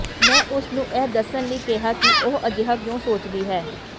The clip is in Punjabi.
ਮੈਂ ਉਸ ਨੂੰ ਇਹ ਦੱਸਣ ਲਈ ਕਿਹਾ ਕਿ ਉਹ ਅਜਿਹਾ ਕਿਉਂ ਸੋਚਦੀ ਹੈ